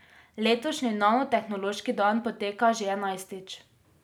Letošnji Nanotehnološki dan poteka že enajstič.